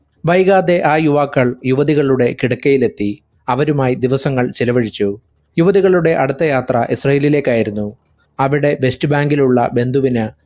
വൈകാതെ ആ യുവാക്കൾ യുവതികളുടെ കെടക്കയിലെത്തി. അവരുമായി ദിവസങ്ങൾ ചിലവഴിച്ചു. യുവതികളുടെ അടുത്തയാത്ര ഇസ്രാഈലിലേക്കായിരുന്നു. അവിടെ west bank ഇലുള്ള ബന്ധുവിന്